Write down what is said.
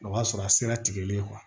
O b'a sɔrɔ a sera tigɛli ye